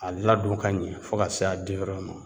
A ladon ka ɲɛ fo ka se a ma